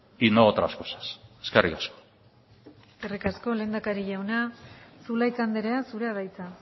y no otras cosas eskerrik asko eskerrik asko lehendakari jauna zulaika andrea zurea da hitza